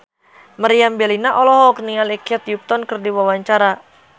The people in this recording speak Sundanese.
Meriam Bellina olohok ningali Kate Upton keur diwawancara